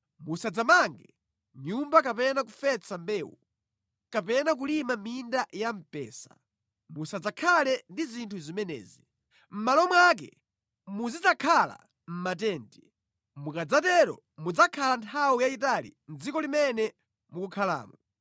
Musadzamange nyumba kapena kufesa mbewu, kapena kulima minda ya mpesa; musadzakhale ndi zinthu zimenezi. Mʼmalo mwake muzidzakhale mʼmatenti. Mukadzatero mudzakhala nthawi yayitali mʼdziko limene mukukhalamo.’